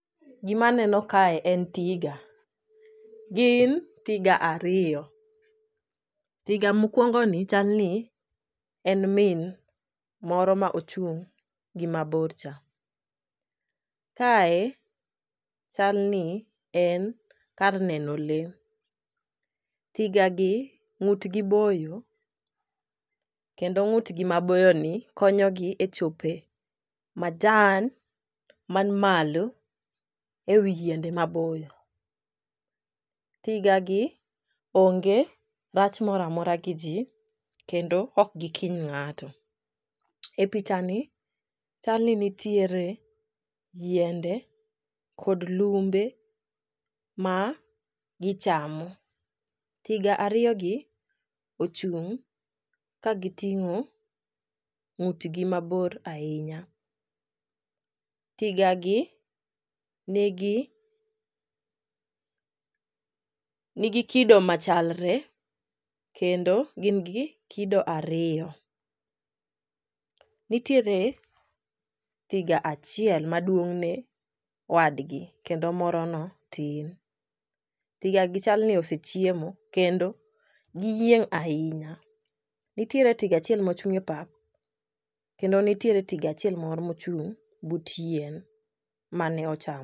Gimaneno kae en tiga. Gin tiga ariyo, tiga mokwongoni chalni en min moro ma ochung' gi mabor cha. Kae chalni en kar neno lee, tigagi ng'utgi boyo kendo ng'utgi maboyoni konyogi e chope majan man malo, e wi yiende maboyo. Tigagi onge rach mora mora gi ji kendo ok gikiny ng'ato. E pichani chalni nitiere yiende kod lumbe ma gichamo, tiga ariyogi ochung' kagiting'o ng'utgi mabor ahinya. Tigagi nigi kido machalre kendo gin gi kido ariyo. Nitiere tiga achiel maduong'ne wadgi, kendo morono tin. Tigagi chalni osechiemo kendo giyieng' ahinya. Nitiere tiga achiel mochung' e pap, kendo nitiere tiga achiel moro mochung' but yien mane ochamo.